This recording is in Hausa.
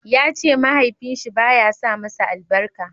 ya ce mahaifin shi ba ya sa masa albarka